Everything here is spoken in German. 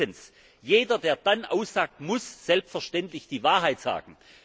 Drittens Jeder, der dann aussagt, muss selbstverständlich die Wahrheit sagen.